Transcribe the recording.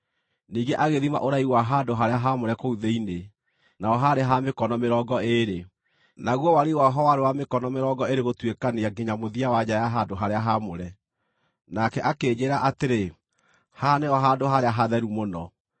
Ningĩ agĩthima ũraihu wa handũ-harĩa-haamũre kũu thĩinĩ; naho haarĩ ha mĩkono mĩrongo ĩĩrĩ, naguo wariĩ waho warĩ wa mĩkono mĩrongo ĩĩrĩ gũtuĩkania nginya mũthia wa nja ya handũ-harĩa-haamũre. Nake akĩnjĩĩra atĩrĩ, “Haha nĩho Handũ-harĩa-Hatheru-Mũno.”